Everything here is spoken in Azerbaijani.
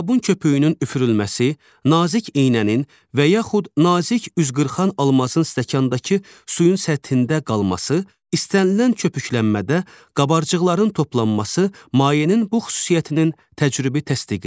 Sabun köpüyünün üfürülməsi, nazik iynənin və yaxud nazik üzqırxan almazın stəkandakı suyun səthində qalması, istənilən köpüklənmədə qabarcıqların toplanması mayenin bu xüsusiyyətinin təcrübi təsdiqidir.